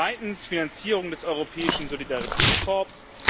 Zweitens Finanzierung des Europäischen Solidaritätskorps.